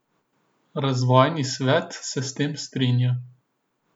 Razvojni svet se s tem strinja.